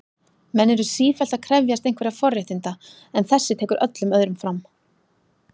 Menn eru sífellt að krefjast einhverra forréttina, en þessi tekur öllum öðrum fram.